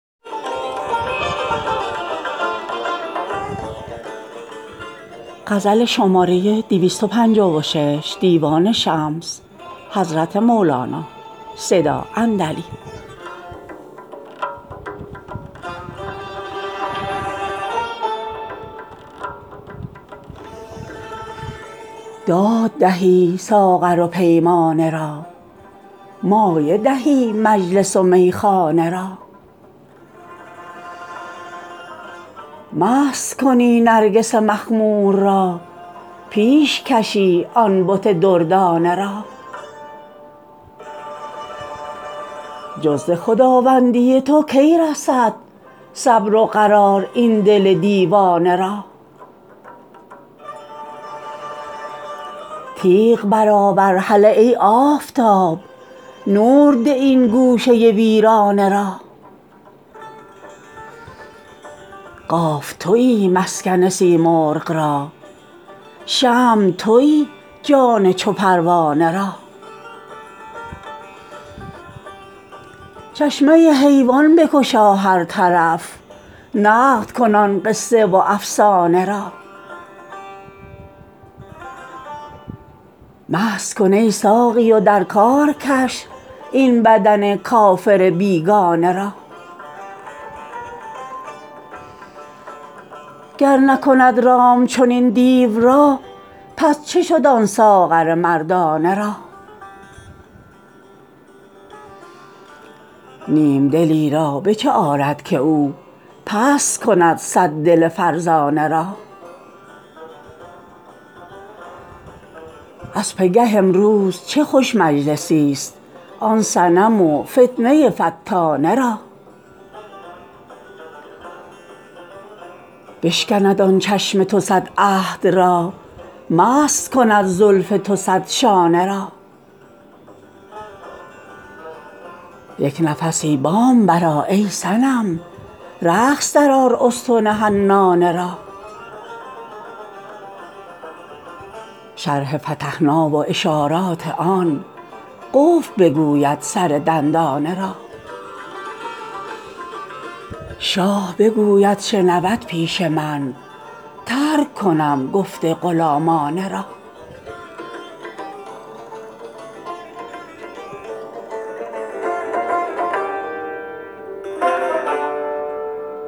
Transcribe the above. داد دهی ساغر و پیمانه را مایه دهی مجلس و میخانه را مست کنی نرگس مخمور را پیش کشی آن بت دردانه را جز ز خداوندی تو کی رسد صبر و قرار این دل دیوانه را تیغ برآور هله ای آفتاب نور ده این گوشه ویرانه را قاف توی مسکن سیمرغ را شمع توی جان چو پروانه را چشمه حیوان بگشا هر طرف نقل کن آن قصه و افسانه را مست کن ای ساقی و در کار کش این بدن کافر بیگانه را گر نکند رام چنین دیو را پس چه شد آن ساغر مردانه را نیم دلی را به چه آرد که او پست کند صد دل فرزانه را از پگه امروز چه خوش مجلسی ست آن صنم و فتنه فتانه را بشکند آن چشم تو صد عهد را مست کند زلف تو صد شانه را یک نفسی بام برآ ای صنم رقص درآر استن حنانه را شرح فتحنا و اشارات آن قفل بگوید سر دندانه را شاه بگوید شنود پیش من ترک کنم گفت غلامانه را